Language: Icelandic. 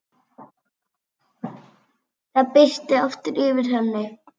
Það birti aftur yfir henni.